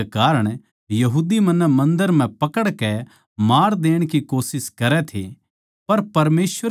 इन बात्तां कै कारण यहूदी मन्नै मन्दर म्ह पकड़कै मार देण की कोशिश करै थे